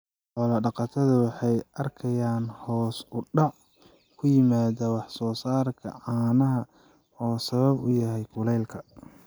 Xoolo dhaqatada waxay arkayaan hoos u dhac ku yimaada wax soo saarka caanaha oo sabab u yahay kuleylka.